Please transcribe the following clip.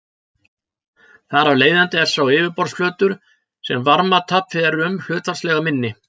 Þar af leiðandi er sá yfirborðsflötur sem varmatap fer um hlutfallslega minni.